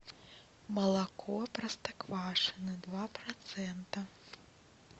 молоко простоквашино два процента